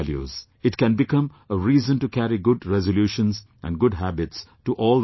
It can become a reason to carry good resolutions and good habits to all the villages